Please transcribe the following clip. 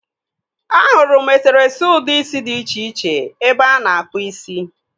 Ahụrụ eserese ụdị isi dị iche iche ebe a na-akpụ isi.